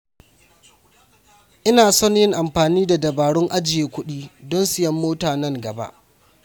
Ina son yin amfani da dabaru ajiye kuɗi don siyan mota nan gaba.